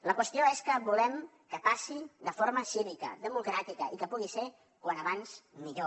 la qüestió és què volem que passi de forma cívica democràtica i que pugui ser com més aviat millor